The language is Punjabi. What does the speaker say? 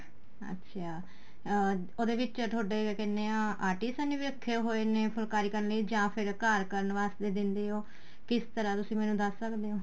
ਅੱਛਾ ਅਹ ਉਹਦੇ ਵਿੱਚ ਤੁਹਾਡੇ ਕਹਿਣੇ ਆ artist ਨੇ ਵੀ ਰੱਖ਼ੇ ਹੋਏ ਨੇ ਫੁਲਕਾਰੀ ਕਰਨ ਲਈ ਜਾ ਫ਼ਿਰ ਘਰ ਕਰਨ ਵਾਸਤੇ ਦਿੰਦੇ ਹੋ ਕਿਸ ਤਰ੍ਹਾਂ ਤੁਸੀਂ ਮੈਨੂੰ ਦੱਸ ਸਕਦੇ ਹੋ